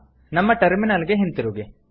ನಮ್ಮ ಟರ್ಮಿನಲ್ ಗೆ ಹಿಂತಿರುಗಿ